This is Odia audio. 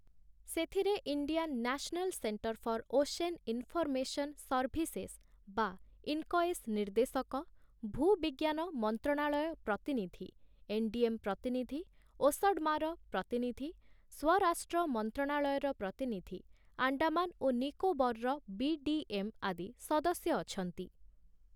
ସେଥିରେ Indian National Centre for Ocean Information Services ବା ଇନ୍କଏସ୍ ନିର୍ଦ୍ଦେଶକ, ଭୂବିଜ୍ଞାନ ମନ୍ତ୍ରଣାଳୟ ପ୍ରତିନିଧି, ଏନ୍ଡିଏମ୍ ପ୍ରତିନିଧି, ଓସଡ୍ମାର ପ୍ରତିନିଧି, ସ୍ୱରାଷ୍ଟ୍ର ମନ୍ତ୍ରଣାଳୟର ପ୍ରତିନିଧି, ଆଣ୍ଡାମାନ ଓ ନିକୋବରର ବି.ଡି.ଏମ୍. ଆଦି ସଦସ୍ୟ ଅଛନ୍ତି ।